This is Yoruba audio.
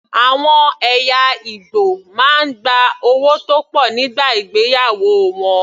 Àwọn ẹ̀yà Ìgbò máa ń gba owó tó pọ̀ nígbà ìgbéyàwó wọn.